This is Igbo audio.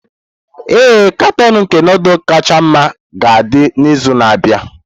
Ee, katọn nke nudulu kacha mma ga-adị n'izu na-abịa.